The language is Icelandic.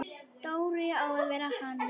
Dóri á að vera hann!